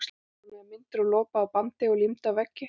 Hún prjónaði myndir úr lopa og bandi og límdi á veggi.